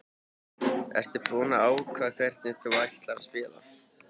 Ertu búinn að ákveða hvernig þú ætlar að spila?